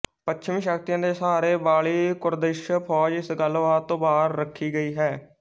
ਪੱਛਮੀ ਸ਼ਕਤੀਆਂ ਦੇ ਸਹਾਰੇ ਵਾਲੀ ਕੁਰਦਿਸ਼ ਫੌਜ ਇਸ ਗੱਲਬਾਤ ਤੋਂ ਬਾਹਰ ਰੱਖੀ ਗਈ ਹੈ